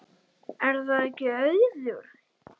Er það ekki Auður?